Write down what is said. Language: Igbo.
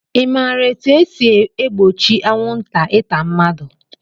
I maara etu e si egbochi anwụnta ịta mmadụ?